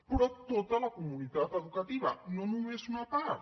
però tota la comunitat educativa no només una part